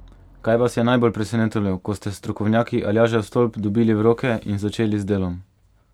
Kaj vas je najbolj presenetilo, ko ste strokovnjaki Aljažev stolp dobili v roke in začeli z delom?